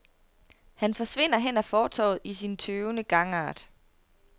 Han forsvinder hen ad fortovet i sin tøvende gangart.